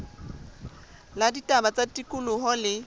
la ditaba tsa tikoloho le